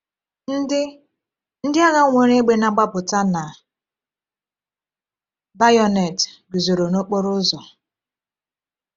Ndị Ndị agha nwere égbè na-agbapụta na bayonet guzoro n’okporo ụzọ.